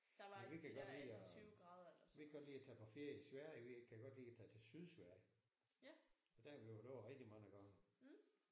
Nej vi kan godt lide at vi kan godt lide at tage på ferie i Sverige. Vi kan godt lide at tage til Sydsverige. Der har vi kørt over rigtig mange gange